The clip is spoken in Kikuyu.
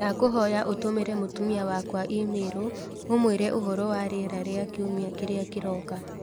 ndakũhoya ũtũmĩre mũtumia wakwa i-mīrū ũmuire ũhoro wa rĩera rĩa kiumia kĩrĩa kĩroka